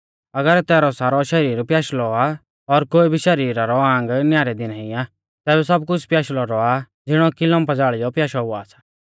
अगर तैरौ सारौ शरीर प्याशलौ आ और कोई भी शरीरा रौ आंग न्यारे दी नाईं आ तैबै सब कुछ़ प्याशलौ रौआ आ ज़िणौ कि लम्पा ज़ाल़ियौ प्याशौ हुआ सा